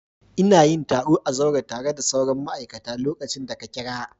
Ina yin taro a zaure tare da sauran ma'aikata lokacin da ka kira.